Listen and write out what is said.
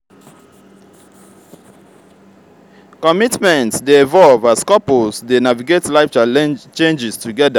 commitment dey evolve as couples dey navigate life changes together.